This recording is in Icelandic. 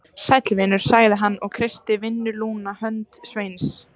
Sæll vinur, sagði hann og kreisti vinnulúna hönd Sveins.